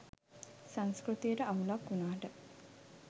සංස්කෘතියට අවුලක් වුණාට